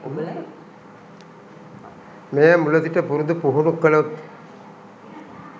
මෙය මුල සිට පුරුදු පුහුණු කළොත්